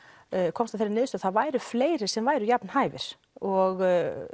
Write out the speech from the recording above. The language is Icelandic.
komst að þeirri niðurstöðu að það væru fleiri sem væru jafn hæfir og